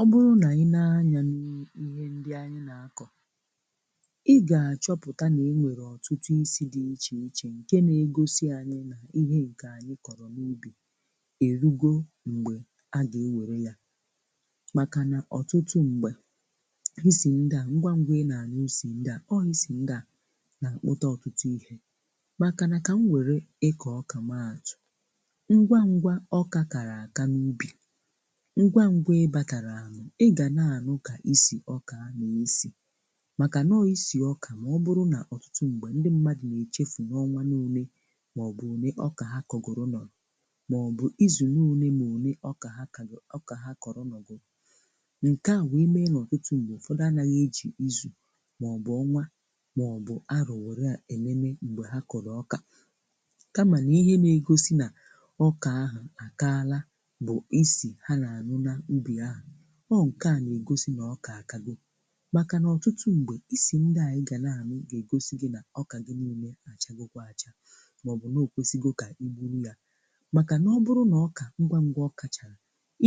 Ọ bụrụ na i nee anya n'i n'ihe ndị anyị na-akọ̀, ị ga-achọpụta na e nwere ọtụtụ ísi dị iche iche nke na-egosi anyị na ihe nke anyị kọrọ n'ubi erugo mgbe a ga-ewere ya makana ọtụtụ mgbe, isi ndị a ngwa ngwa ị na-anụ ísì ndị a ọọ ísì ndị a na-akpụta ọtụtụ ihe. Ka m were ịkọ ọ́kà maa atụ, ngwa ngwa ọka kara aka n'ubi, ngwa ngwa ịbataraana, ị ga na-anụ ka ísì ọka a na-esi makana ọọ ísì ọka ma ọ bụrụ na ọtụtụ mgbe, ndị mmadụ na-echefu n'ọnwa n'ole maọbụ ole ọka ha kọgoro nọrọ maọbụ izu n'ole na ole ọka ha kago ọka ha kọrọ nọgoro. Nke a wee mee na ọtụtụ mgbe, ụfọdụ anaghị eji izu maọbụ ọnwa maọbụ arọ̀ were enene mgbe ha kọrọ ọka. Kama nịihe na-egosi na ọka ahụ a kaala bụ ísì ha na-anụ n'ubi ahụ. Ọọ nke a na-egosi na ọka akago. Makana ọtụtụ mgbe, isi ndị a ị ga na-anụ ga-egosi gị na ọka gị niile achagokwa acha maọbụ noo okwesịgo ka i buru ya. Makana ọ bụrụ na ọka ngwa ngwa ọ kachara,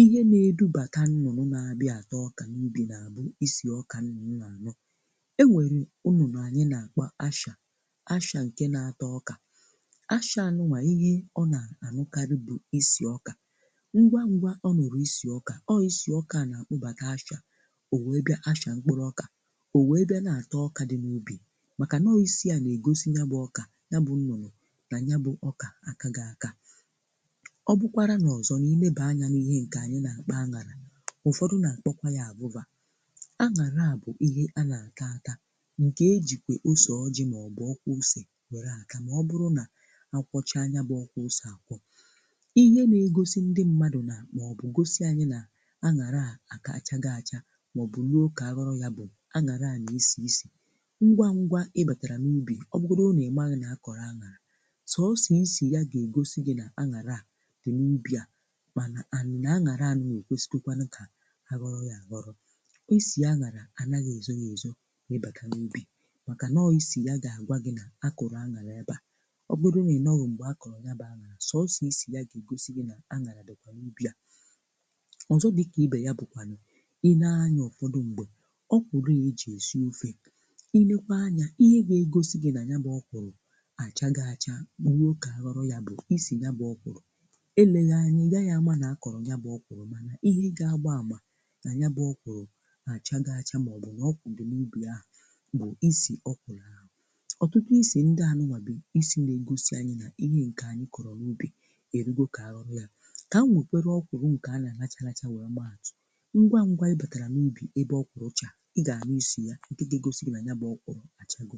ihe na-edubata nnụnụ na-abịa ata ọka n'ubi bụ isi ọka nnụnụ na-anụ. O nwere nnụnụ anyị na-akpọ Áchà Áchà nke na-ata ọkà. Ácha a nụnwa, ihe ọ na-anụkarị bụ isi ọkà. Ngwa ngwa ọ nụrụ isi ọka, ọọ isi ọka a na-akpụbata Áchà, o wee bịa Áchà mkpụrụ ọka, o wee bịa na-ata ọka dị n'ubi makana ọọ isi na-egosi yabụ ọka yabụ nnụnụ na yabụ ọkà akago aka. Ọ bụkwara n'ọzọ niilebaa anya n'ihe nke anyị na-akpọ aṅara. Ụfọdụ na-akpọkwa ya àvụ́va. Aṅara a bụkwa ihe anyị na-ata ata nke e jikwa ose ọjị maọbụ ọ́kwụ́ ose were a ta ma ọbụrụ na akwọchaa yabụ ọ́kwụ́ ose akwọ. Ihe na-egosi ndị mmadụ na maọbụ gosi anyị na aṅara a achago acha maọbụ ruo ka a ghọọ ya bụ aṅara a na-esi isi. Ngwa ngwa ị batara n'ubi, ọ bụrụgodi nị ị maghị na a kọrọ aṅara, sọsọ isi ya ga-egosi gị na aṅara a dị n'ubi a mana and na aṅara a ekwesigokwa ka a ghọrọ ya aghọrọ. Isi aṅara anaghị ezo ya ezo, ịbata n'ubi maka nọọ isi ya ga-agwa gị na a kụrụ aṅara ebe a. Ọ bụrụgodi nị ịnọghụ mgbe a kọrọ yabụ aṅara, sọsọ, isi ya ga-egosi gị na aṅara dịkwa n'ubi a. Ọzọ dị ka ibe ya bụkwanụ i nee anya ụfọdụ mgbe, ọkwụrụ a e ji esi ofe, i nekwaa anya ihe ga-egosi gị na yabụ ọkwụrụ achago acha ruo ka a ghọrọ ya bụ isi yabụ ọkwụrụ. Eleghị anya ị gaghị ama na-akọrọ yabụ ọkwụrụ mana ihe ga-agba àmà na yabụ ọkwụrụ achago acha maọbụ na ọkwụrụ dị na yabụ ubi ahụ bụ isi ọkwụrụ a. Ọtụtụ ísi ndị a nụnwa bụ isi na-egosi anyị na ihe nke anyị kọrọ n'ubi erugo ka a ghọbịa. Ka m wekwarụ ọkwụrụ nke a na-aracha aracha wee maa atụ. Ngwa ngwa ị batara n'ubi ebe ọkwụrụ chara, ị ga-anụ isi ya nke ga-egosi gị na yabụ ọkwụrụ achago.